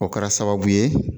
O kɛra sababu ye